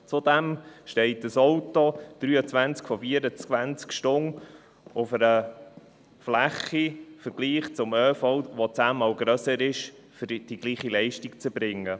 Zudem steht ein Auto 23 von 24 Stunden auf einer Fläche, die, verglichen mit dem ÖV, zehnmal grösser ist, um dieselbe Leistung zu erbringen.